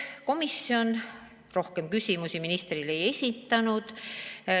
Komisjon rohkem küsimusi ministrile ei esitanud.